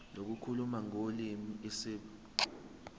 lokukhuluma ngolimi isib